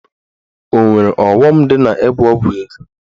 Ọ nwere ọghọm dị n'ịgwọ ọgwụ ego?